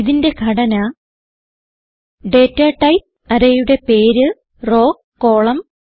ഇതിന്റെ ഘടന data type array യുടെ പേര് റോവ് കോളം